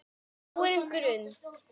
gróin grund!